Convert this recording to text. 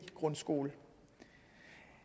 grundskole